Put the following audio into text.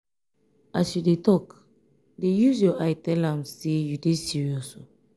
as you dey tok dey use your eye tell am sey you dey serious.